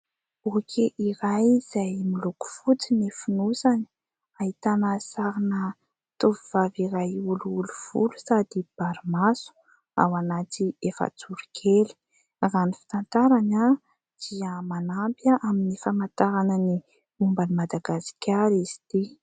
Boky iray izay miloko fotsy ny fonosany, ahitana sarina tovovavy iray olioly volo sady bary maso ao anaty efajoro kely. Raha ny fitantarany dia manampy amin'ny famantarana ny momban'i Madagasikara izy ity.